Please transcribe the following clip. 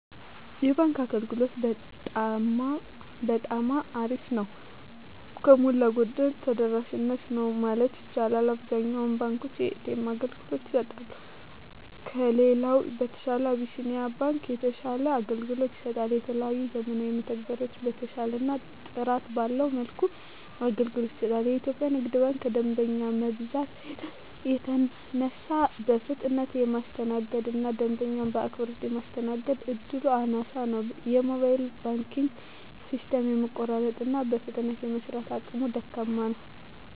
የባንክ አገልግሎት በጠማ አሪፍ ነው። ከሞላ ጎደል ተደራሽ ነው ማለት ይቻላል። አብዛኛውን ባንኮች የኤ.ተ.ኤም አገልግሎት ይሰጣሉ። ከሌላው በተሻለ አብሲኒያ ባንክ የተሻለ አገልግሎት ይሰጣል። የተለያዩ ዘመናዊ መተግበሪያዎችን በተሻለና ጥራት ባለው መልኩ አገልግሎት ይሰጣል። ኢትዮጵያ ንግድ ባንክ ከደንበኛ መብዛት የተነሳ በፍጥነት የማስተናገድ እና ደንበኛ በአክብሮት ማስተናገድ እድሉ አናሳ ነው። የሞባይል ባንኪንግ ሲስተሙም የመቆራረጥ እና በፍጥነት የመስራት አቅሙ ደካማ ነው።